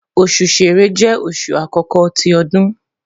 osu Ṣẹrẹ jẹ oṣu akọkọ ti ọdun